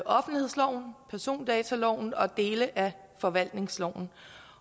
offentlighedsloven persondataloven og dele af forvaltningsloven